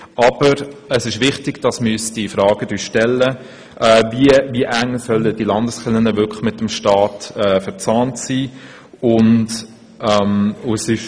Aber es ist wichtig, dass wir uns die Frage stellen, wie weit die Landeskirchen mit dem Staat verzahnt sein sollen.